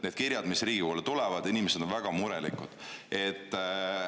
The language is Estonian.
Need kirjad, mis Riigikogule tulevad – inimesed on väga murelikud.